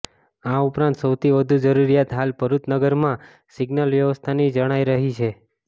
આ ઉપરાંત સૌથી વધુ જરૃરિયાત હાલ ભરૃચ નગરમાં સિગ્નલ વ્યવસ્થાની જણાય રહી છે